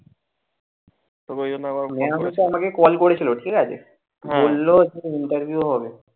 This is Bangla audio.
maam কিন্তু আমাকে call করেছিল ঠিকাছে। বলল যে নিতাই কে বলো।